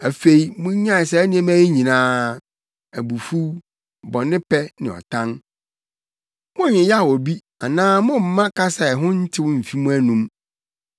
Afei munnyae saa nneyɛe yi nyinaa: abufuw, bɔnepɛ, ne ɔtan. Monnyeyaw obi anaa mommma kasa a ɛho ntew mmfi mo anom.